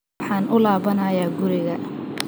Waxaan ku laabanayaa guriga